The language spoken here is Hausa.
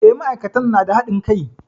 E, ma'aikatan na da haɗin kai.